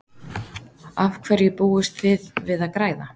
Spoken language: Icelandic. Af hverju búist þið við að græða?